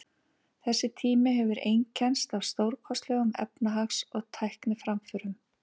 Þessi tími hefur einkennst af stórkostlegum efnahags- og tækniframförum.